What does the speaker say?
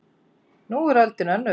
En nú er öldin önnur